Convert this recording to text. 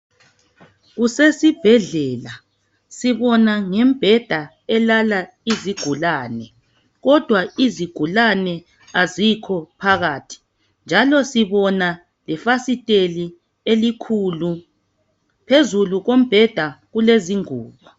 Kusesibhedlela sibona ngembheda elala izigulane kodwa izigulane azikho phakathi njalo sibona lefasiteli elikhulu phezulu kombheda kulezingubo